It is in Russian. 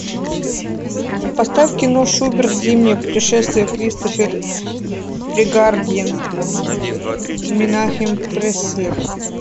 поставь кино шуберт зимнее путешествие кристофер прегардьен менахем преслер